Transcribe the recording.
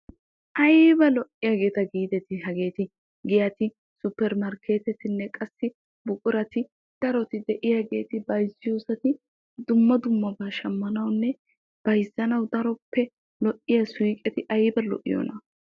ayiba lo"iyageeta giideti hageeti! giyati, supper markkeetetinne qassi buqurati daroti de'iyageeti bayizziyoosati dumma dummabaa shammanawunne bayizzanawu daroppe lo"iya suyiqeti ayiba lo"iyona!